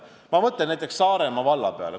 Ma mõtlen näiteks Saaremaa valla peale.